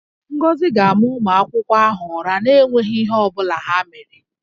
Ngozi ga-ama ụmụaka ahụ ụra na-enweghi ihe ọ bụla ha mere